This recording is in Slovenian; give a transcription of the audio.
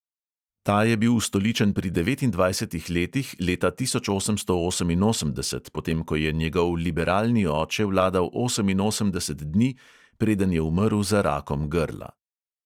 Ta je bil ustoličen pri devetindvajsetih letih leta tisoč osemsto oseminosemdeset, potem ko je njegov liberalni oče vladal oseminosemdeset dni, preden je umrl za rakom grla.